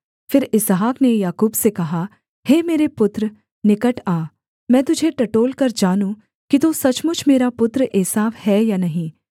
फिर इसहाक ने याकूब से कहा हे मेरे पुत्र निकट आ मैं तुझे टटोलकर जानूँ कि तू सचमुच मेरा पुत्र एसाव है या नहीं